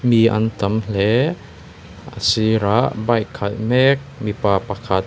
hi an tam hle a sirah bike khalh mek mipa pakhat--